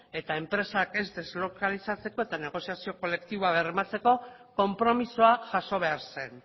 eta enpresak ez deslokalizatzeko eta negoziazio kolektiboa bermatzeko konpromisoa jaso behar zen